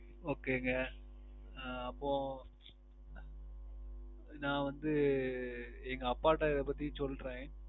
Okay ங்க அஹ் அப்போ நான் வந்து அஹ் எங்க அப்பாட இதை பத்தி சொல்றேன்